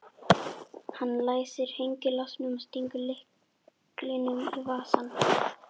Hann læsir hengilásnum og stingur lyklinum í vasann.